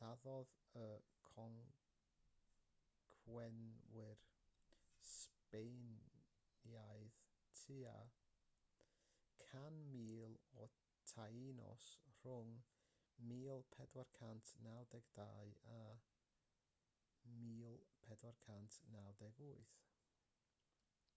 lladdodd y concwerwyr sbaenaidd tua 100,000 o taínos rhwng 1492 a 1498